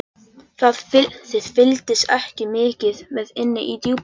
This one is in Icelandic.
Þið fylgist ekki mikið með inni í Djúpi.